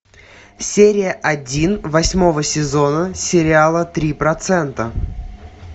серия один восьмого сезона сериала три процента